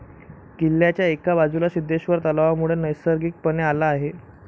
किल्ल्याच्या एका बाजूला सिद्धेश्वर तलावामुळे नैसर्गिकपणे आला आहे.